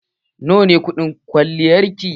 Nawa ne kuɗin kwalliyar ki?